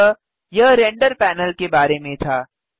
अतः यह render panel के बारे में था